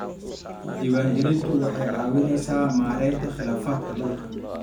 Diiwaangelintu waxay ka caawisaa maaraynta khilaafaadka dhulka.